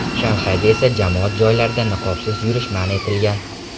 Shanxayda esa jamoat joylarida niqobsiz yurish man etilgan .